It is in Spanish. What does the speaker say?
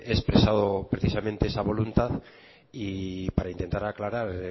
he expresado precisamente esa voluntad y para intentar aclarar